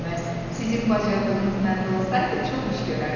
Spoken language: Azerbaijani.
Sizin bacardığınız məndə olsaydı çox iş görərdim.